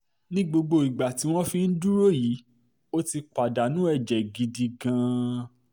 ní gbogbo ìgbà tí wọ́n fi ń dúró yìí ó ti pàdánù ẹ̀jẹ̀ gidi gan-an